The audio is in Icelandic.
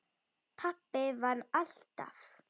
Pabbi vann alltaf.